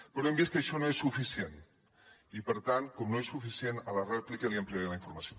però hem vist que això no és suficient i per tant com que no és suficient a la rèplica li ampliaré la informació